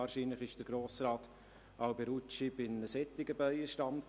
Wahrscheinlich war Grossrat Alberucci bei einem solchen Bienenstand.